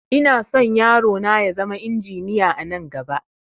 Inason yaro na ya zama injiniya anan gaba